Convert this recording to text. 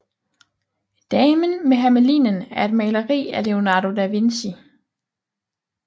Damen med Hermelinen er et maleri af Leonardo da Vinci